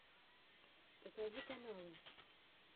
покажи каналы